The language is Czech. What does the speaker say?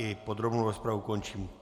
I podrobnou rozpravu končím.